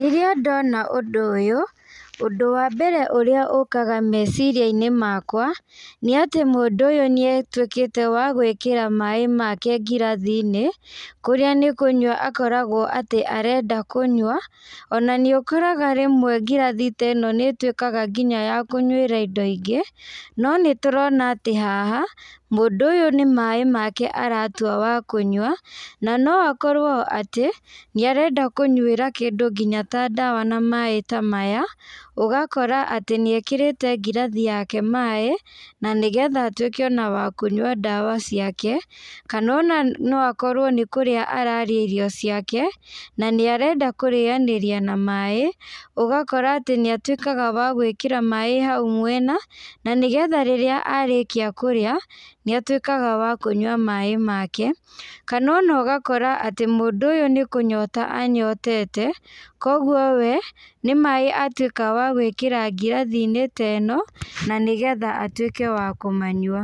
Rĩrĩa ndona ũndũ ũyũ, ũndũ wa mbere ũrĩa ũkaga meciriainĩ makwa, nĩatĩ mũndũ ũyũ nĩatuĩkĩte wa gwĩkĩra maĩ make ngirathinĩ, kũrĩa nĩkũnyua akoragwo atĩ arenda kũnywa, ona nĩũkoraga rĩmwe ngirathi ta ĩno nĩtuĩkaga nginya ya kũnyuĩra indo ingĩ, no nĩtũrona atĩ haha, mũndũ ũyũ nĩmaĩ make aratwa wa kũnyua, na no akorwo atĩ, nĩarenda kũnywĩra kĩndũ nginya ta ndawa na maĩ ta maya, ũgakora atĩ nĩekĩrĩte ngirathi yake maĩ, na nĩgetha atuĩke ona wa kũnyua ndawa ciake, kana ona no akorwo nĩ kũrĩa ararĩa irio ciake, na nĩarenda kũrĩanĩria na maĩ, ũgakora atĩ nĩatuĩkaga wa gwĩkĩra maĩ hau mwena, na nĩgetha rĩrĩa arĩkia kũrĩa, nĩtuĩkaga wa kũnyua maĩ make, kana ona ũgakora atĩ mũndũ ũyũ nĩkũnyota anyotete, koguo we, nĩmaĩ atuĩka wa gwĩkĩra ngirathinĩ ta ĩno, na nĩgetha atuĩke wa kũmanyua.